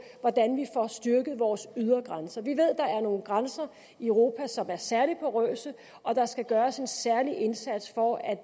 hvordan vi får styrket vores ydre grænser vi ved at der er nogle grænser i europa som er særlig porøse og at der skal gøres en særlig indsats for at